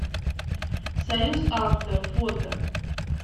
союз авто фото